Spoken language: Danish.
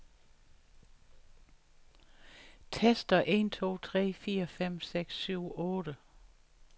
Tester en to tre fire fem seks syv otte.